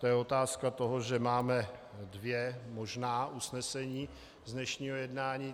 To je otázka toho, že máme dvě možná usnesení z dnešního jednání.